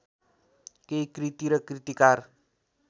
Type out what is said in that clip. केही कृति र कृतिकार